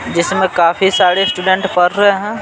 जिसमें काफी सारे स्टूडेंट पढ़ रहे है।